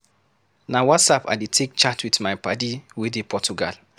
Na Whatsapp I dey take chat with my paddy wey dey Portugal.